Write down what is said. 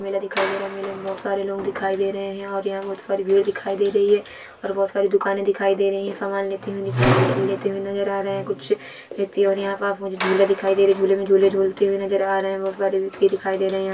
मेला दिखाई दे रहा-- मेला में बहुत सारे लोग दिखाई दे रहे हैं और यह मुझ पर वीडियो दिखाई दे रही है और बहुत सारी दुकान दिखाई दे रही है सामान लेते हुए ले-ते हुए नजर आ रहे हैं कुछ व्यक्ति और यहां पर आप मुझे झूला दिखाई दे रहे-- झूले में झूले झूला झूलते हुए नजर आ रहे हैं बहुत सारे व्यक्ति दिखाई दे रहे हैं।